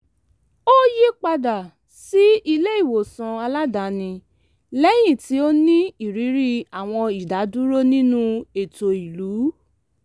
ó yípadà sí ilé-ìwòsàn aládàáni lẹ́yìn tí ó ní ìrírí àwọn ìdádúró nínú ètò ìlú